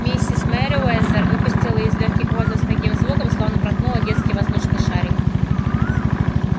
миссис мерриуэзер выпустила из лёгких воздух с таким звуком словно проткнула детский воздушный шарик